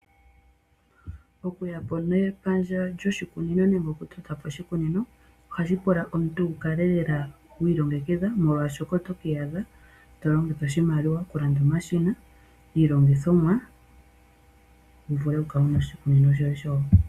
Okuyapo nepandja lyoshikunino nenge okutotapo oshikunino, ohashi pula omuntu wukale lela wi ilongekidha molwaashoka , otoka iyadha tolongitha omashina, iilongithomwa wuvule okukala wuna oshikunino shoye shoopala.